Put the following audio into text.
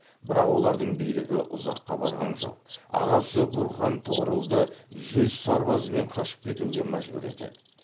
бірақ олардың билігі ұзаққа барған жоқ ағасы гурхан тұғырылды жүз сарбазымен қашып кетуге мәжбүр етеді